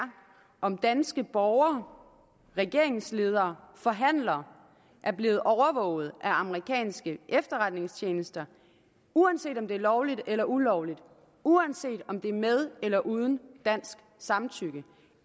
om danske borgere regeringsledere og forhandlere er blevet overvåget af amerikanske efterretningstjenester uanset om det er lovligt eller ulovligt uanset om det er med eller uden dansk samtykke